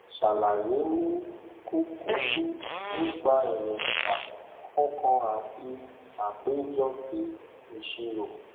sàlàyé ni kúkúrú nípa èróńgbà kọọkan àti àpéjọ ti ìṣirò